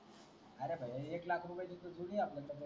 अरे एकलाखची जोडी आहे आपल्या कडे